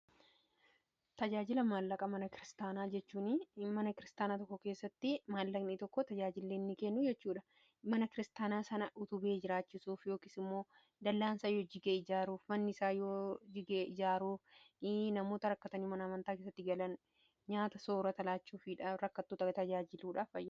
tajaajila maallaqa mana kiristaanaa tokko keessatti maallaqnii tokko tajaajilleenni kennu jechuudha mana kiristaanaa sana utubee jiraachisuuf yookis immoo dal'aansaa yoo jigee ijaaruuf mannisaa yoo jigee ijaaruuni namoota rakkatanii manamantaa keessatti galan nyaata soora talaachuuf rakkattuu tajaajiluudhaaf